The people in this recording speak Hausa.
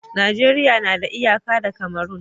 Najeriya na da iyaka da Cameron